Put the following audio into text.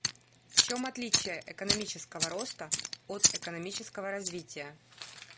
в чем отличие экономического роста от экономического развития